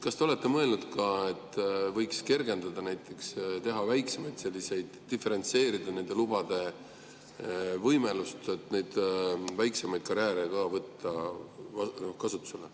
Kas te olete mõelnud, et võiks seda kergendada, näiteks diferentseerida nende lubade kasutamise võimalust, nii et saaks ka väiksemaid karjääre kasutusele võtta?